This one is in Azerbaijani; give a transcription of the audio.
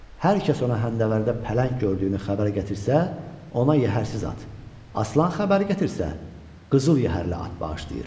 Hər kəs ona həndəvərdə pələng gördüyünü xəbər gətirsə, ona yəhərsiz at, aslan xəbəri gətirsə, qızıl yəhərli at bağışlayır.